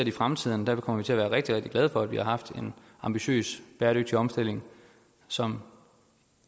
i fremtiden kommer vi til at være rigtig rigtig glade for at vi har haft en ambitiøs bæredygtig omstilling som